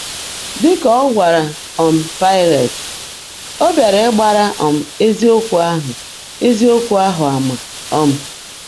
Dị ka ọ gwara um Paịlet, ọ bịara ‘ịgbara um eziokwu ahụ eziokwu ahụ ama.' um